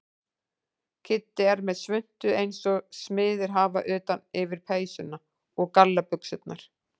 Kiddi er með svuntu eins og smiðir hafa utan yfir peysuna og gallabuxurnar.